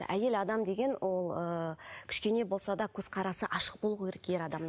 әйел адам деген ол ыыы кішкене болса да көзқарасы ашық болуы керек ер адамнан